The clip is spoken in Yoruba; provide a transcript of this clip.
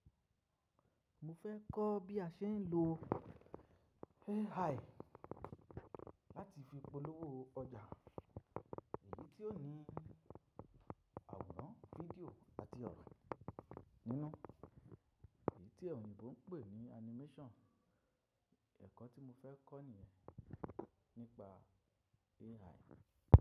Mo fẹ́ kọ́ bí a ṣe ń lo AI láti fi polówó ọjà, èyí tí ó ní àwòrán fídíò àti ọ̀rọ̀ nínú, èyí tí oyinbo pè ní animation. Ẹ̀kọ́ tí mo fẹ́ kọ́ nìyẹn nípa AI.